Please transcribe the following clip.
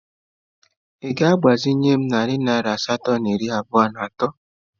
Ị ga-agbazinye m narị naira asatọ na iri abụọ na atọ?